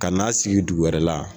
Ka n'a sigi dugu wɛrɛ la.